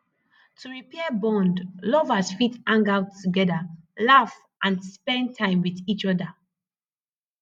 to repair bond lovers fit hang out together laugh and spend time with each oda